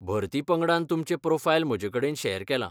भरती पंगडान तुमचें प्रोफायल म्हजेकडेन शेअर केलां.